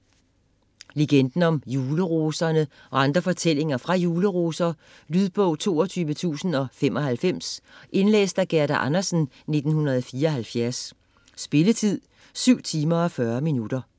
Legenden om juleroserne og andre fortællinger fra Juleroser Lydbog 22095 Indlæst af Gerda Andersen, 1974. Spilletid: 7 timer, 40 minutter.